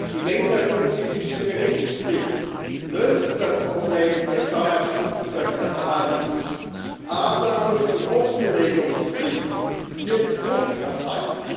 Die länderspezifische Berichtspflicht löst das Problem der Steuerschlupflöcher zwar nicht, aber durch die Offenlegungspflicht wird Druck erzeugt.